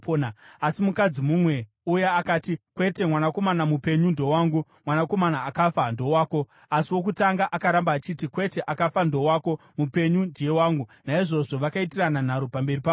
Asi mukadzi mumwe uya akati, “Kwete, mwanakomana mupenyu ndowangu, mwanakomana akafa ndowako.” Asi wokutanga akaramba akati, “Kwete, akafa ndowako; mupenyu ndiye wangu.” Naizvozvo vakaitirana nharo pamberi pamambo.